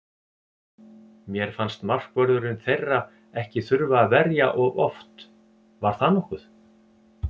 Mér fannst markvörðurinn þeirra ekki þurfa að verja of oft, var það nokkuð?